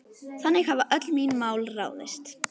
Þannig hafa öll mín mál ráðist.